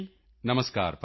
ਨਮਸਕਾਰ ਭਾਈ